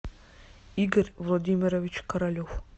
игорь владимирович королев